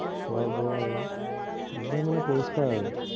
খোৱা বোৱা এইয়া মানে পৰিষ্কাৰ আৰু